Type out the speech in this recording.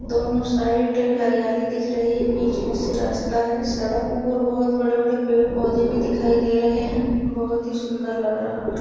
दोनों साइड हरियाली दिख रही है। बीच में से रास्ता है। सड़क और बहुत बड़े बड़े पेड़ पौधे भी दिखाई दे रहे हैं। बहुत ही सुन्दर लग रहा --